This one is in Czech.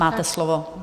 Máte slovo.